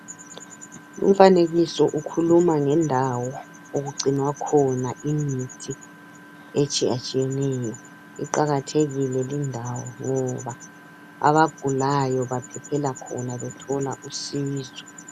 Umfanekiso ukhuluma ngendawo okugcinwa khona imithi etshiyatshiyeneyo. Iqakathekile lindawo, ngoba abagulayo baphephela khona. Bethola usizo.